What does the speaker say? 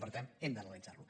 i per tant hem d’analitzar lo